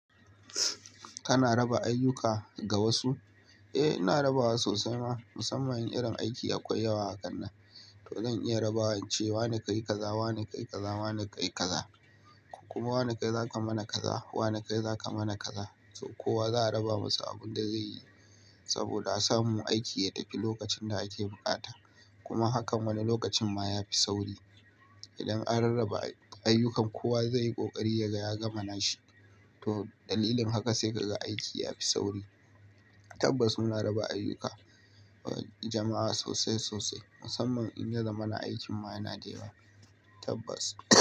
Kana raba ayyuka ga wasu? Eh, ina raba wa sosai ma. Musamman in irin aiki akwai yawa hakannan. To zan iya raba wa ince wane kai kaza, wane kai kaza, wane kai kaza. Kuma wane kai za ka mana kaza, wane kai za ka mana kaza. To kowa za a raba masa abin da zai yi saboda a samu aiki ya tafi lokacin da ake bukata. Kuma hakan wani lokacin ma ya fi sauri. Idan an rarraba ayyukan kowa zai yi ƙoƙari yaga ya gamana shi. To dalilin haka sai ka ga aiki ya fi sauri. Tabbas muna raba ayyuka wa jama'a sosai sosai. Musamman in yaza mana aikin ma yana dayawa tabbas.